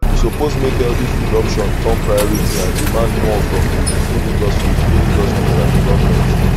we suppose make healthy food option turn priority and demand more from di food industry food industry and di government